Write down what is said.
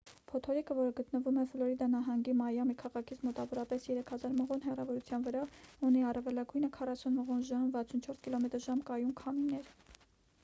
փոթորիկը որը գտնվում է ֆլորիդա նահանգի մայամի քաղաքից մոտավորապես 3000 մղոն հեռավորության վրա ունի առավելագույնը 40 մղոն/ժ 64 կմ/ժ կայուն քամիներ: